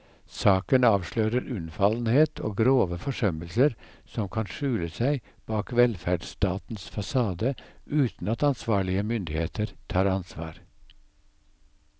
Saken avslører unnfallenhet og grove forsømmelser som kan skjule seg bak velferdsstatens fasade uten at ansvarlige myndigheter tar ansvar.